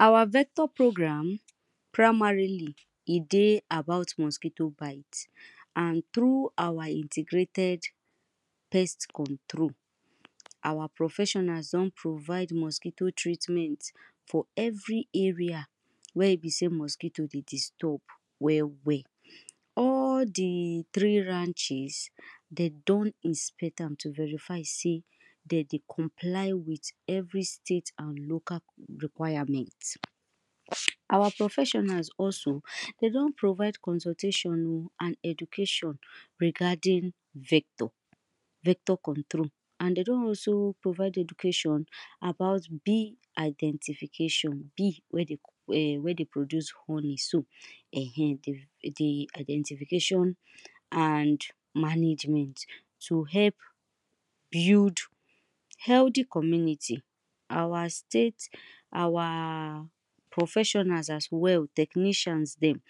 Our vector progran, primarily e dey about mosquito, and through our integrated pest control, our professionals don provide mosquito treatment, for every area wey e be sey mosquito dey disturb well well. All the three ranches, dem don inspect am to verify sey, dem dey comply with every state and local requirement. Our professionals also, dem don provde consultation o and education, regarding vector. vector control and dem don also provide education about bee identification, bee wey dey eh wey dey produce honey so, ehen the the identification, and management to help build, healthy community. our state, our professionals as well, technicians dem.